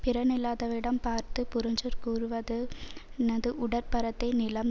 பிறனில்லாதவிடம் பார்த்து புறஞ்சொற் கூறுவதுனது உடற்பரத்தை நிலம்